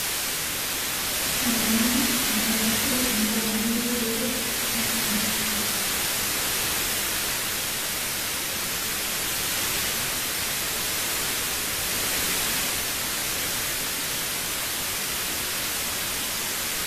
Kaa ng'eno arashu mbaa niyieu pee eyas ena siai